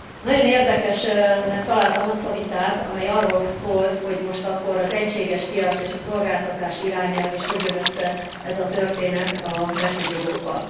Nagyon érdekesnek találtam azt a vitát, amely arról szólt, hogy most akkor az egységes piac és a szolgáltatás irányelv, és hogy jön össze ez a történet a betegjogokkal.